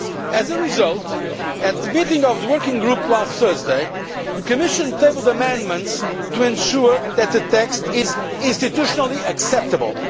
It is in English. As a result, at the meeting of the Working Group last Thursday, the Commission tabled amendments to ensure that the text is institutionally acceptable.